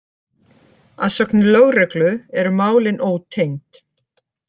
Að sögn lögreglu eru málin ótengd